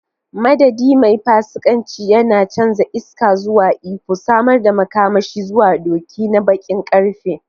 Madadin, mai fasikanci, yana canza iska zuwa iko, samar da makamashi zuwa doki na baƙin ƙarfe.